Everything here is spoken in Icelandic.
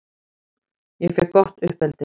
Ég fékk gott uppeldi.